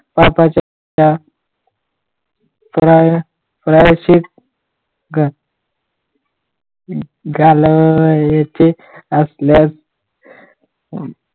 पापाचे प्रायश्चीत घालायचे असल्यास